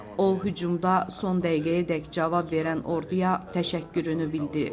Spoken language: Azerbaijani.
O hücumda son dəqiqəyədək cavab verən orduya təşəkkürünü bildirib.